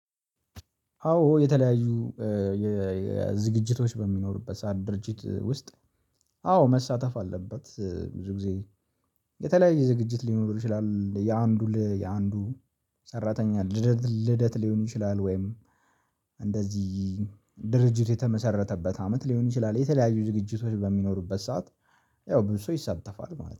አዎ የተለያዩ የዝግጅቶች በሚኖሩበት ሰዓት ድርጅት ውስጥ አዎ መሳተፍ አለበት ብዙ ጊዜ። የተለያየ ዝግጅት ሊኖር ይችላል የአንዱ የአንዱ። ሰራተኛ ልደት ልደት ሊሆን ይችላል። ወይም እንደዚህ ድርጅት የተመሰረተበት አመት ሊሆን ይችላል። የተለያዩ ዝግጅቶች በሚኖሩበት ሰዓት ያው ብዙ ሰው ይሰተፋል ማለት ነው